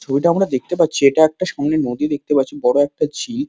ছবিটা আমরা দেখতে পাচ্ছি এটা একটা সামনে নদী দেখতে পাচ্ছি বড় একটা ঝিল।